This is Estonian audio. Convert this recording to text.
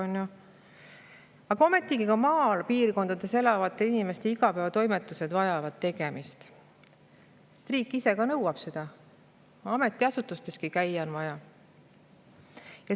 Ometi vajavad ka maapiirkondades elavate inimeste igapäevatoimetused tegemist, ka riik ise nõuab seda, ametiasutusteski on vaja käia.